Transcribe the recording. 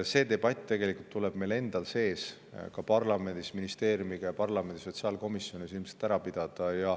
See debatt tuleb tegelikult meil endal ka parlamendis ning ministeeriumis ja parlamendi sotsiaalkomisjonis ilmselt ära pidada.